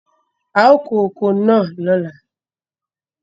A ó kó oko náà lóla.